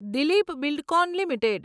Dilip Buildcon limited